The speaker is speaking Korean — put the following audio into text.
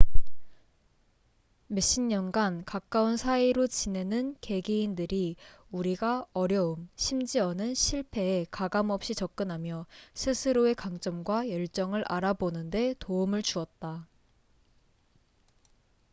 몇 십년 간 가까운 사이로 지내는 개개인들이 우리가 어려움 심지어는 실패에 가감 없이 접근하며 스스로의 강점과 열정을 알아보는 데 도움을 주었다